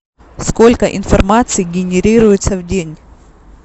сколько информации генерируется в день